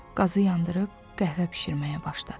Qazı yandırıb qəhvə bişirməyə başladı.